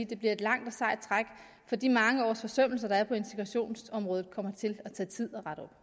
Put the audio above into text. det bliver et langt og sejt træk for de mange års forsømmelser der er på integrationsområdet kommer det til at tage tid